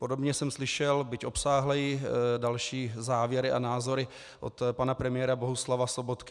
Podobně jsem slyšel, byť obsáhleji, další závěry a názory od pana premiéra Bohuslava Sobotky.